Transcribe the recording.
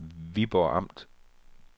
Viborg Amt